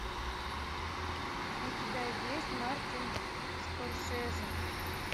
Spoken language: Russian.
у тебя есть мартин скорсезе